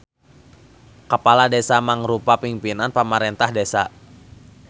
Kapala Desa mangrupa pingpinan pamarentah desa.